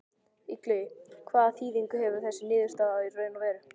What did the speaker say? Illugi, hvaða þýðingu hefur þessi niðurstaða í raun og veru?